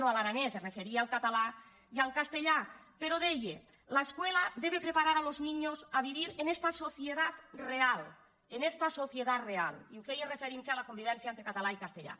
no a l’aranès es referia al català i al castellà però deia la escuela debe preparar a los niños a vivir en esta sociedad real en esta sociedad real i ho feia referint·se a la con·vivència entre català i castellà